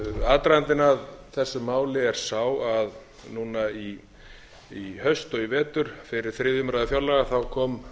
aðdragandinn að þessu máli er sá að núna í haust og í vetur fyrir þriðju umræðu fjárlaga kom